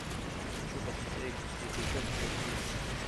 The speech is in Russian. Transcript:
хочу посмотреть светлячок аш ди